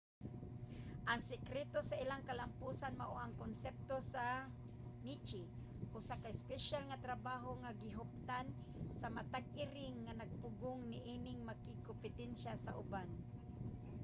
ang sekreto sa ilang kalampusan mao ang konsepto sa niche usa ka espesyal nga trabaho nga gihuptan sa matag iring nga nagpugong niining makigkompetensya sa uban